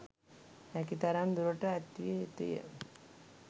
හැකි තරම් දුරට ඈත් විය යුතුය